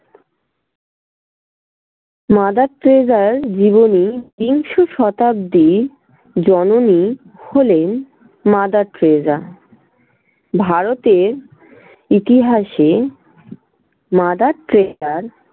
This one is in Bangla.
mother টেরেসার জীবনী বিংশ শতাব্দীর জননী হলেন mother টেরেসা। ভারতের ইতিহাসে mother টেরেসার